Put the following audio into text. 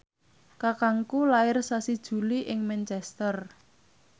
kakangku lair sasi Juli ing Manchester